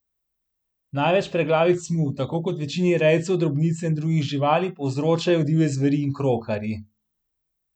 Največ preglavic mu, tako kot večini rejcev drobnice in drugih živali, povzročajo divje zveri in krokarji.